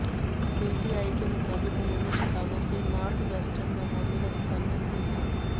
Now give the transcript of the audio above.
PTI के मुताबिक उन्होंने शिकागो के नार्थवेस्टर्न मेमोरियल अस्पताल में अंतिम सांस ली